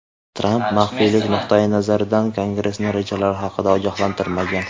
Tramp maxfiylik nuqtayi nazaridan Kongressni rejalari haqida ogohlantirmagan.